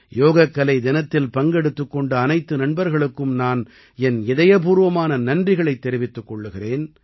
யோகக்கலை தினத்தில் பங்கெடுத்துக் கொண்ட அனைத்து நண்பர்களுக்கும் நான் என் இதயப்பூர்வமான நன்றிகளைத் தெரிவித்துக் கொள்கிறேன்